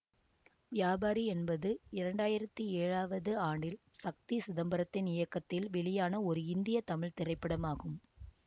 வியாபாரி என்பது இரண்டு ஆயிரத்தி ஏழாவது ஆண்டில் சக்தி சிதம்பரத்தின் இயக்கத்தில் வெளியான ஒரு இந்திய தமிழ் திரைப்படமாகும்